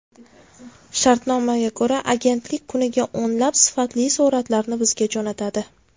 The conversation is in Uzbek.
Shartnomaga ko‘ra, agentlik kuniga o‘nlab sifatli suratlarni bizga jo‘natadi.